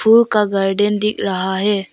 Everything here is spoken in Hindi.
वो का गार्डन दिख रहा है।